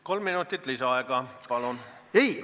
Kolm minutit lisaaega, palun!